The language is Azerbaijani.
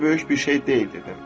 Elə də böyük bir şey deyil dedim.